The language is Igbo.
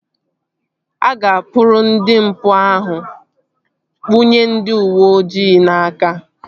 A ga-akpụrụ ndị mpụ ahụ kpụnye ndị uweojii n'aka